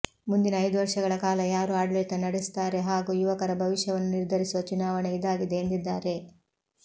ಮುಂದಿನ ಐದು ವರ್ಷಗಳ ಕಾಲ ಯಾರು ಆಡಳಿತ ನಡೆಸುತ್ತಾರೆ ಹಾಗೂ ಯುವಕರ ಭವಿಷ್ಯವನ್ನು ನಿರ್ಧರಿಸುವ ಚುನಾವಣೆ ಇದಾಗಿದೆ ಎಂದಿದ್ದಾರೆ